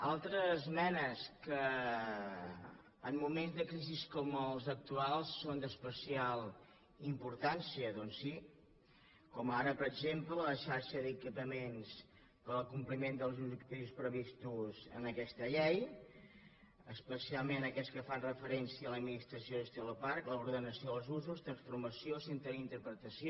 altres esmenes que en moments de crisi com els actuals són d’especial importància doncs sí com ara per exem·ple la xarxa d’equipaments per al compliment dels ob·jectius previstos en aquesta llei especialment aquells que fan referència a l’administració i gestió del parc l’orde·nació dels usos transformació centre d’interpretació